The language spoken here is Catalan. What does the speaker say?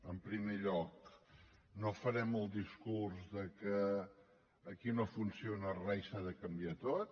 en primer lloc no farem el discurs de que aquí no funciona re i s’ha de canviar tot